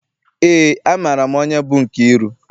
Eé, amaara m onye bụ Nkeiru.